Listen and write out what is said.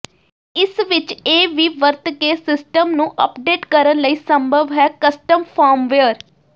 ਇਸ ਵਿਚ ਇਹ ਵੀ ਵਰਤ ਕੇ ਸਿਸਟਮ ਨੂੰ ਅਪਡੇਟ ਕਰਨ ਲਈ ਸੰਭਵ ਹੈ ਕਸਟਮ ਫਰਮਵੇਅਰ